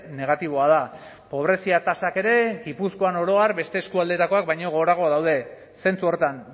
negatiboa da pobrezia tasak ere gipuzkoan oro har beste eskualdetakoak baino gorago daude zentzu horretan